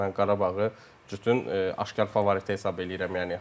Mən Qarabağı bütün aşkar favorit hesab eləyirəm.